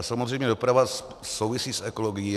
A samozřejmě doprava souvisí s ekologií.